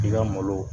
I ka malo